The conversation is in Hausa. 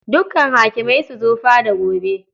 Dukkan hakimai su zo fada gobe.